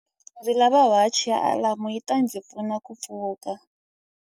Ndzi lava wachi ya alamu yi ta ndzi pfuna ku pfuka.